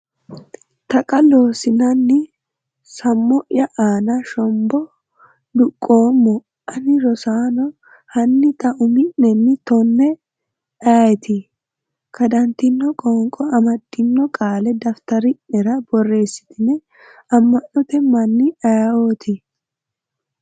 Taqa Loossinanni Sammo’ya aana shombo duqqoommo, ani Rosaano, hanni xa umi’nenni tonne ayeeti?” kadantino qoonqo amaddino qaalla daftari’nera borreessetino amano'te mani ayeeoti.